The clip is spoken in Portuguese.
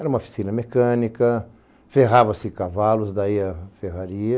Era uma oficina mecânica, ferrava-se cavalos, daí a ferraria.